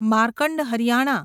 Markand Haryana